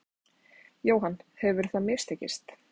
Jóhann: Hefur það mistekist?